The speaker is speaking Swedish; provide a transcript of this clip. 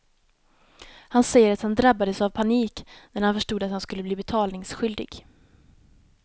Han säger att han drabbades av panik när han förstod att han skulle bli betalningsskyldig.